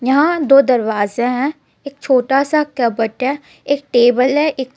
यहां दो दरवाजा है एक छोटा सा कपबर्ड है एक टेबल है एक चेय--